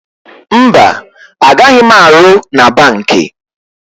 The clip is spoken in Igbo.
Mba, a gaghị m arụ na banki.